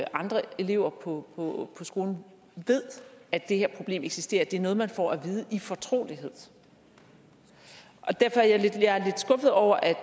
andre elever på skolen ved at det her problem eksisterer det er noget man får at vide i fortrolighed derfor er jeg lidt skuffet over at